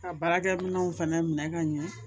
Ka baarakɛminɛnw fɛnɛ minɛ ka ɲɛ